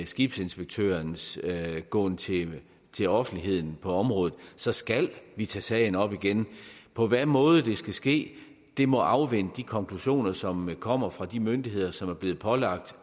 skibsinspektørens gåen til til offentligheden på området så skal vi tage sagen op igen på hvilken måde det skal ske må afvente de konklusioner som kommer fra de myndigheder som er blevet pålagt